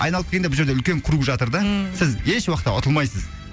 айналып келгенде бұл жерде үлкен круг жатыр да ммм сіз еш уақытты ұтылмайсыз